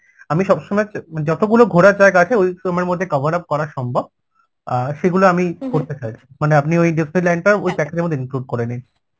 আমি সব সময় চ~ যতগুলো ঘোরার জায়গা আছে ওই মধ্যে coverup করা সম্ভব অ্যাঁ সেগুলো আমি করতে চাইছি মানে আপনি ওই Disneyland ওই package মধ্যে include করে নিন